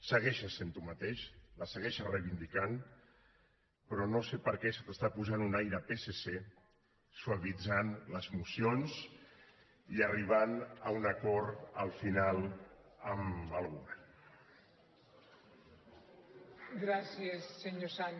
segueixes sent tu mateix la segueixes reivindicant però no sé per què se t’està posant un aire de psc suavitzant les mocions i arribant a un acord al final amb el govern